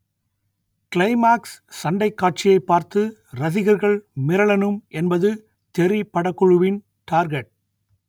climax சண்டைக் காட்சியை பார்த்து ரசிகர்கள் மிரளணும் என்பது தெறி படக்குழுவின் டார்கெட்